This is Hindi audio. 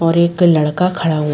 और और एक लड़का खड़ा है।